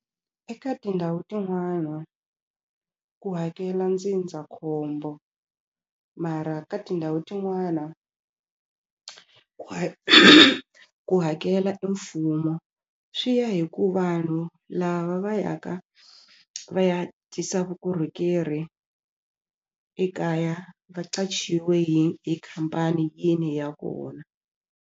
Eka tindhawu tin'wana ku hakela ndzindzakhombo mara ka tindhawu tin'wana ku ku hakela e mfumo swi ya hi ku vanhu lava va yaka va ya tisa vukorhokeri ekaya va qachiwe hi hi khampani yini ya kona.